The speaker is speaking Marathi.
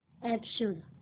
अॅप शोध